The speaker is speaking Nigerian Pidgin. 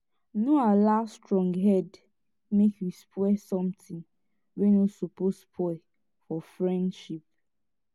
no allow stronghead mek you spoil somtin wey no soppose spoil for friendship